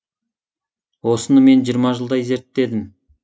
осыны мен жиырма жылдай зерттедім